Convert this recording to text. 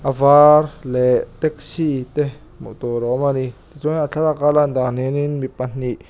a var leh taxi te hmuh tur a awm a ni tichuan a thlalak a a lan dan hian in mi pahnih--